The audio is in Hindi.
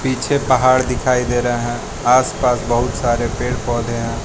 पीछे पहाड़ दिखाई दे रहे हैं आसपास बहुत सारे पेड़ पौधे हैं।